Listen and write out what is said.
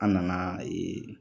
An nana